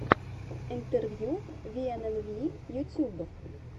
интервью виэнэнви ютьюб